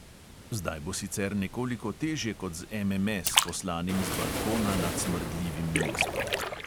Zdaj bo sicer nekoliko težje kot z MMS, poslanim z balkona nad smrdljivim mestom.